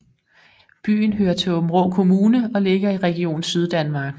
Byen hører til Aabenraa Kommune og ligger i Region Syddanmark